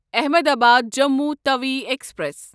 Ahmedabad Jammu Tawi express